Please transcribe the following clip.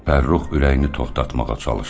Fərrux ürəyini toxtatmağa çalışdı.